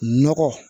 Nɔgɔ